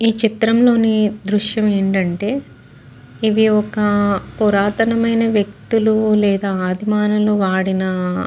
ఈ చిత్రం లోని దృశ్యం ఏంటంటే ఇవి ఒక పురాతనమైన వ్యక్తులు లేదా ఆది మానవులు వాడిన --